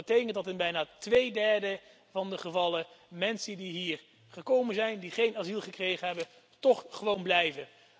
Dat betekent dat in bijna twee derde van de gevallen mensen die hier gekomen zijn, die geen asiel gekregen hebben, toch gewoon blijven.